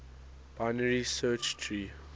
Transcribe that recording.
binary search tree